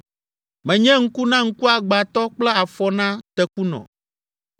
Menye ŋku na ŋkuagbãtɔ kple afɔ na tekunɔ.